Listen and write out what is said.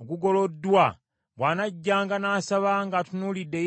ogugoloddwa, bw’anajjanga n’asaba ng’atunuulidde eyeekaalu eno,